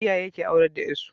Iyaye ke aurar da yar su